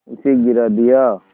उसे गिरा दिया